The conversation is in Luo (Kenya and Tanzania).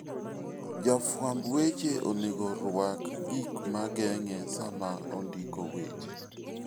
Jafwamb weche onego orwak gik ma geng'e sama ondiko weche.